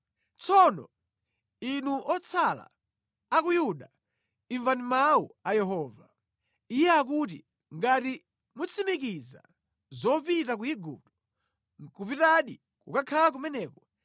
Tsono, inu otsala a ku Yuda, imvani mawu a Yehova. Iye akuti, ngati mutsimikiza zopita ku Igupto, nʼkupitadi kukakhala kumeneko,